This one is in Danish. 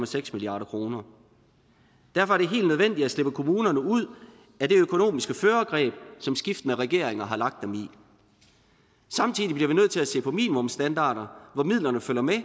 seks milliard kroner derfor er det helt nødvendigt at slippe kommunerne ud af det økonomiske førergreb som skiftende regeringer har lagt dem i samtidig bliver vi nødt til at se på minimumsstandarder hvor midlerne følger med